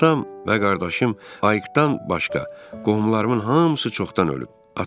Atam və qardaşım Ayıqdan başqa, qohumlarımın hamısı çoxdan ölüb.